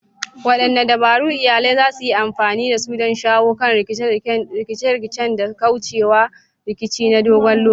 Wadanne dabaru iyalai za su yi amfani da su don shawo kan rikice-rikice da kauce wa rikici na dogon lokaci?